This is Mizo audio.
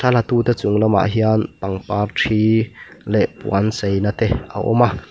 thla latute chung lamah hian pangpar ṭhi leh puan cheina te a awm a.